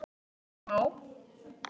Bara smá?